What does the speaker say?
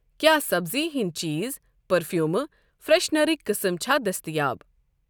کیٛاہ سبزی ہِنٛدؠ چیٖز، پٔرفیٛٛوٗمہٕ، فرٛیٚشنَرٕکؠ قٕسٕم چھا دٔستیاب۔